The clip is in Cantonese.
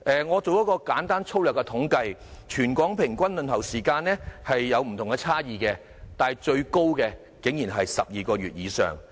我進行了一項粗略統計，全港各中心的輪候時間各有差異，但最長的竟然要12個月以上。